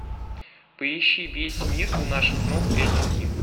поищи весь мир у наших ног эч ди